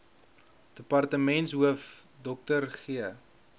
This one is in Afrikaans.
departementshoof dr g